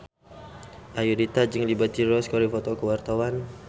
Ayudhita jeung Liberty Ross keur dipoto ku wartawan